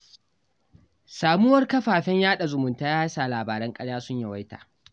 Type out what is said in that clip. Samuwar kafafen yaɗa zumunta ya sa labaran ƙarya sun yawaita